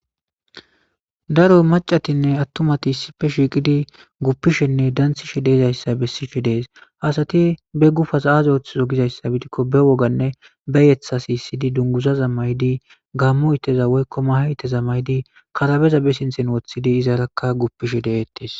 Daro macatinne attumati issippe shiqidi bettishin gupishenne dansishede'izaysa besishe de'es. asat be gupas azi othizo gizaysa gidikko be wogane be yetha sisidi dungizaza mayidi gamo ittiza woykon mahe itteza mayidi karabeza be sintha wothidi izaraka gupishe de'etes